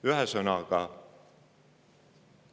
Oluline on ka rõhutada väiksemat tootmist ja tarbimist.